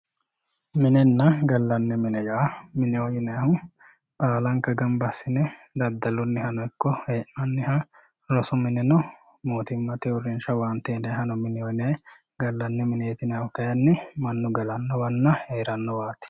Minenna gallanni mine yaa, mineho yinnannihu baalanka gamba assine daddalunihano ikko hee'nanniha loosu mineno mootimmate uurinsha owaantehano mineho yinnanni ,gallanni mineti yinnannihu kayinni galanowanna heeranowati.